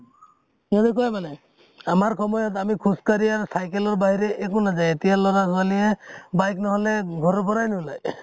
সিহঁতে কয় মানে আমাৰ সময় ত আমি খুজ কাঢ়ি আৰু cycle ৰ বাহিৰে একো নাজায় । এতিয়া লʼৰা ছোৱালীয়ে bike নহʼলে ঘৰ ৰ পৰাই নোলাই ।